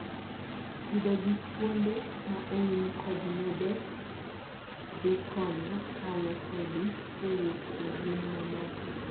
pidho gi kuonde ma oum kod nede dhikonyo kawo kodhi kowuok e yien mamoko